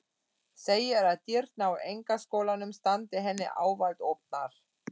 Segir að dyrnar á einkaskólanum standi henni ávallt opnar.